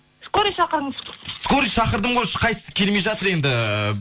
скорый шақырыңыз скорый шақырдым ғой ешқайсысы келмей жатыр енді